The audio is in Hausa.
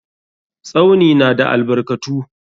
Tsauni na da albarkatu.